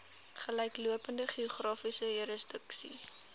gelyklopende geografiese jurisdiksie